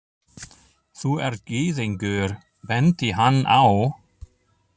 Þú ert gyðingur, benti hann á.